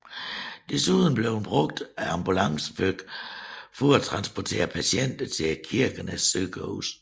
Desuden blev den brugt av ambulancefly for at transportere patienter til Kirkenes sykehus